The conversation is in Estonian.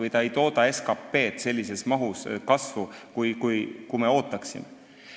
Need ei tooda SKT kasvu sellises mahus, kui me ootaksime.